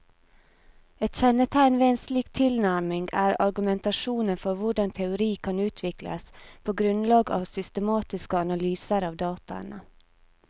Et kjennetegn ved en slik tilnærming er argumentasjonen for hvordan teori kan utvikles på grunnlag av systematiske analyser av dataene.